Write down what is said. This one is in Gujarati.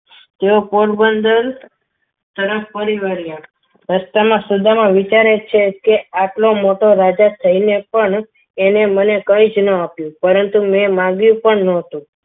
તેઓ પોરબંદર સરસ પરિવાર રહ્યા રસ્તામાં સુદામા વિચારે છે કે આટલો મોટો રાજા થઈને પણ એને મને કંઈ જ ન આપ્યું પરંતુ મેં માંગ્યું પણ ન હતું.